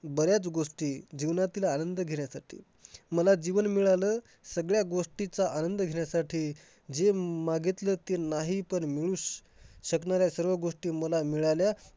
बऱ्याच गोष्टी जीवनातील आनंद घेण्यासाठी. मला जीवन मिळालं सगळ्या गोष्टींचा आनंद घेण्यासाठी, जे मागितले नाही पण पण मिळू~ मिळू शकणाऱ्या सगळ्या गोष्टी मला मिळाल्या.